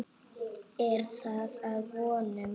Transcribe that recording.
Er það að vonum.